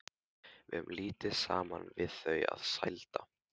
Við höfðum lítið saman við þau að sælda.